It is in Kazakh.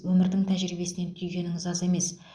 өмірдің тәжірибесінен түйгеніңіз аз емес